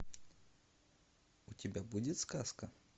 у тебя будет сказка